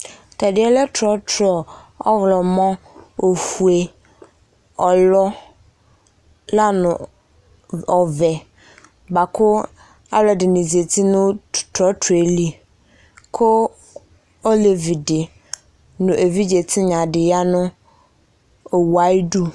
Tɛ deɛ lɛ trɔtrɔɔwlɔmɔ , ofue, ɔlɔ la ni ɔvɛ hoako alɔede ne zati no trɔtrɔe li, ko olevi de no evidze tinya de ya no wu ayidu